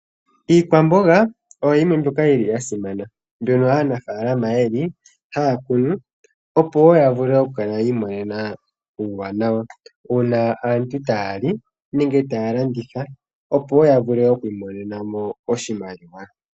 Iikwamboga oyo yimwe mbyoka yili ya simana . Mbyono aanafaalama yeli haya kunu opo woo ya vule oku kala yi imonena uuwanawa uuna aantu taya li nenge taya landitha opo woo yavule oku imonena mo oshimaliwa.